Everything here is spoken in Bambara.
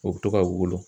O bɛ to ka wolo